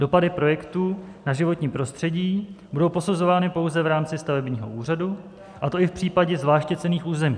Dopady projektů na životní prostředí budou posuzovány pouze v rámci stavebního úřadu, a to i v případě zvláště cenných území.